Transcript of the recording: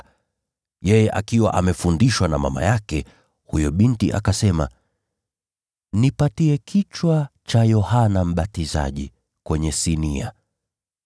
Huyo binti, akiwa amechochewa na mama yake, akasema, “Nipe kichwa cha Yohana Mbatizaji kwenye sinia.”